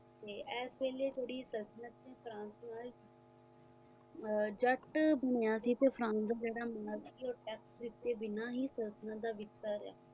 ਇਸ ਵੇਲੇ ਥੋੜੇ ਤਸਕਨਰ ਫਰਾਂਸ ਜੱਟ ਮੁਨੀਆਂ ਦੇ ਪਸੰਦ ਸੰਤਤਲਣ ਦਾ ਵਿਕਦਾ ਰਹੀਆਂ